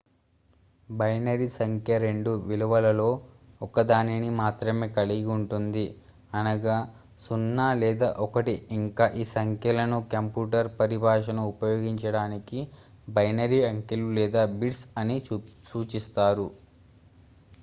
binary సంఖ్య రెండు విలువలలో ఒకదానిని మాత్రమే కలిగి ఉంటుంది అనగా 0 లేదా 1 ఇంకా ఈ సంఖ్యలను కంప్యూటర్ పరిభాషను ఉపయోగించడానికి బైనరీ అంకెలు లేదా బిట్స్ అని సూచిస్తారు